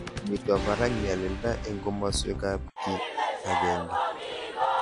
Mito parak nyalilda eng komaswek ab kiy ag'eng'e